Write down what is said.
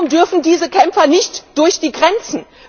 Warum dürfen diese Kämpfer nicht durch die Grenzen?